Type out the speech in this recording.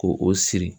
Ko o siri